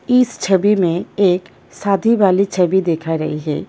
इस छबी में एक शादी वाली छवि दिखा रही है।